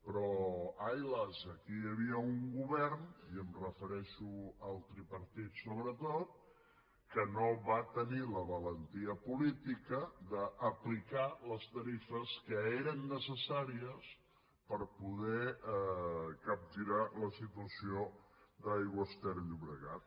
però ai las aquí hi havia un govern i em refereixo al tripartit sobretot que no va tenir la valentia política d’aplicar les tarifes que eren necessàries per poder capgirar la situació d’aigües ter llobregat